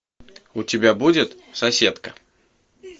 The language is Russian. у тебя будет соседка